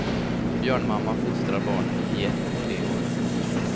Björnmamma fostrar barnen i ett till tre år.